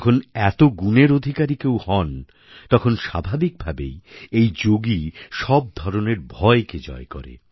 যখন এত গুণের অধিকারী কেউ হন তখন স্বাভাবিক ভাবেই এই যোগী সব ধরনের ভয়কে জয় করে